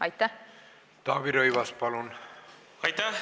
Aitäh!